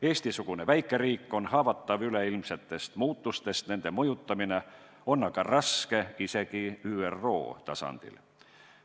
Eesti-sugune väikeriik on haavatav üleilmsetest muutustest, nende mõjutamine on aga raske isegi ÜRO tasandil.